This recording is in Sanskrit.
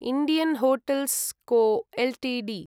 Indian hotels co Ltd